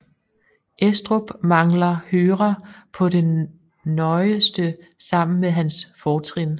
Estrups mangler hører på det nøjeste sammen med hans fortrin